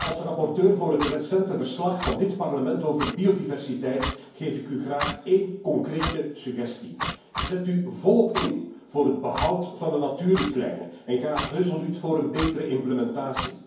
Als rapporteur voor het recente verslag van dit Parlement over biodiversiteit geef ik u graag één concrete suggestie zet u volop in voor het behoud van de natuurrichtlijnen en ga resoluut voor een betere tenuitvoerlegging.